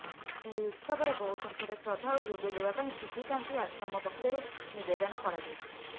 ଏହିଉତ୍ସବରେ ବହୁ ସଂଖ୍ୟାରେ ଶ୍ରଦ୍ଧାଳୁ ଯୋଗ ଦେବାପାଇଁ ସିଧିକାନ୍ତି ଆଶ୍ରମ ପକ୍ଷରୁ ନିବେଦନ କରାଯାଇଛି